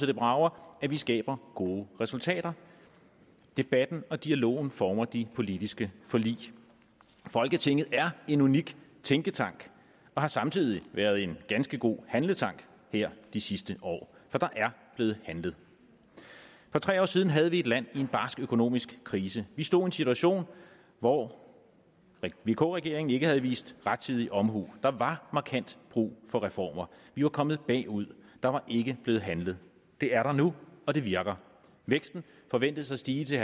det brager at vi skaber gode resultater debatten og dialogen former de politiske forlig folketinget er en unik tænketank og har samtidig været en ganske god handletank her de sidste år for der er blevet handlet for tre år siden havde vi et land i en barsk økonomisk krise vi stod i en situation hvor vk regeringen ikke havde vist rettidig omhu der var markant brug for reformer vi var kommet bagud der var ikke blevet handlet det er der nu og det virker væksten forventes at stige til